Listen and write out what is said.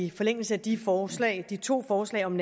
i forlængelse af de forslag de to forslag om